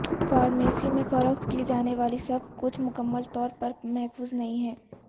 pharmacy میں فروخت کی جانے والی سب کچھ مکمل طور پر محفوظ نہیں ہے